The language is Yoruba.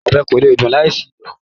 Ọbẹ̀ kò lè dùn láì sí iyọ̀